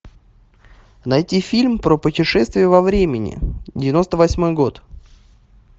найти фильм про путешествие во времени девяносто восьмой год